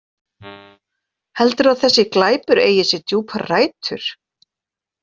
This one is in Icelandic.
Heldurðu að þessi glæpur eigi sér djúpar rætur?